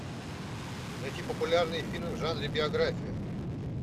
найти популярные фильмы в жанре биография